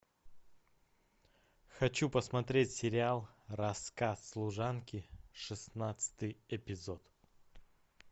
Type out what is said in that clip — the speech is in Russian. хочу посмотреть сериал рассказ служанки шестнадцатый эпизод